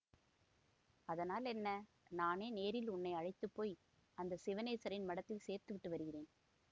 அதனால் என்ன நானே நேரில் உன்னை அழைத்துப்போய் அந்த சிவநேசரின் மடத்தில் சேர்த்துவிட்டு வருகிறேன்